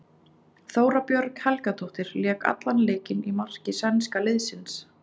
Þóra Björg Helgadóttir lék allan leikinn í marki sænska liðsins.